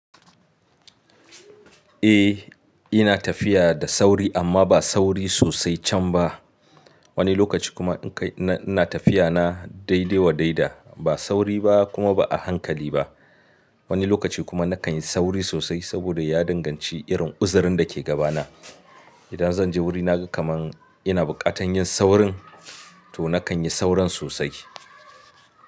Eh ina tafiya da sauri amma ba sauri sosai can ba. Wani lokaci kuma in kai ina tafiya na daidaiwa daida ba sauri ba kuma ba a hankali ba. Wani lokaci kuma nakan yi sauri sosai saboda ya danganci irin uzarin da ke gabana. Idan zan je wurina kamar ina bukatan yin saurin to nakan yi sauron sosai.